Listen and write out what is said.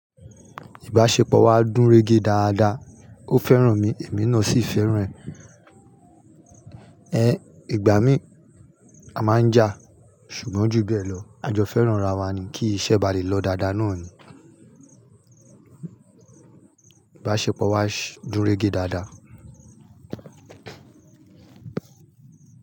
Ìbáṣepọ̀ wa dùn rége dáadáa. Ó fẹ́ràn mi èmi náà sì fẹ́ràn ẹ̀. Ẹ̀ igbà mií a máa ń jà ṣùgbọ́n ju bẹ́ẹ̀ lọ, a jọ fẹ́ràn ara wa ni kí iṣẹ́ ba lè lọ dáadáa náà ni. Ìbáṣepọ̀ wa dùn rége dáadáa.